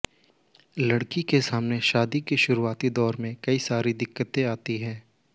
लड़की के सामने शादी के शुरुआती दौर में कई सारी दिक्कतें आती हैं